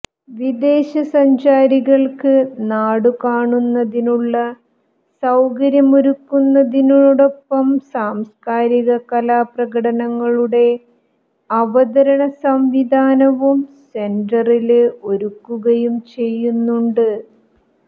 വിദേശസഞ്ചാരികള്ക്ക് നാടുകാണുന്നതിനുള്ള സൌകര്യമൊരുക്കുന്നതിനൊപ്പം സാംസ്ക്കാരിക കലാ പ്രകടനങ്ങളുടെ അവതരണ സംവിധാനവും സെന്ററില് ഒരുക്കുകയും ചെയ്യുന്നുണ്ട്